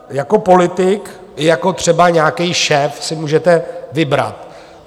Jako politik i jako třeba nějaký šéf si můžete vybrat.